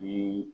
Ni